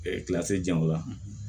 jago la